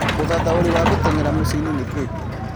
ũthathaũri wa gũtengera mũciĩinĩ nĩ kĩĩ